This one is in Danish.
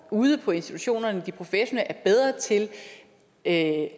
ude på institutionerne de professionelle er bedre til at